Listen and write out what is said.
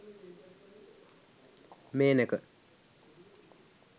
menaka